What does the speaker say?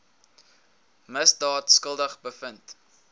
misdaad skuldig bevind